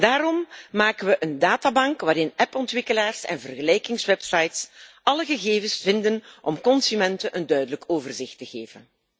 Daarom maken we een databank waarin appontwikkelaars en vergelijkingswebsites alle gegevens vinden om consumenten een duidelijk overzicht te geven.